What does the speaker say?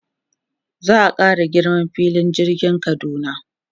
Za a ƙara girman filin jirgin Kaduna.